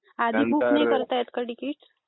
आधी बूक नाही करता येत का तिकीट?